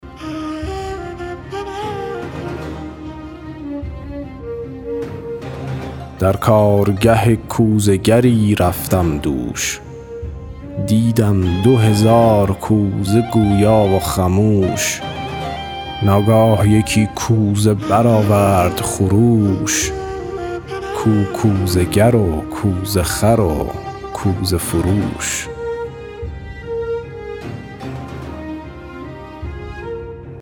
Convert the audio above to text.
در کارگه کوزه گری رفتم دوش دیدم دو هزار کوزه گویا و خموش ناگاه یکی کوزه برآورد خروش کو کوزه گر و کوزه خر و کوزه فروش